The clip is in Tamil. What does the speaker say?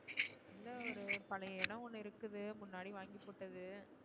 இல்ல ஒரு பழைய இடம் ஒன்னு இருக்குது முன்னாடி வாங்கிப்போட்டது.